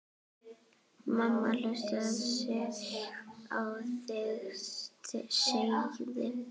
Mamma hlustar á þig, sagði